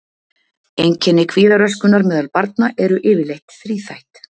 Einkenni kvíðaröskunar meðal barna eru yfirleitt þríþætt.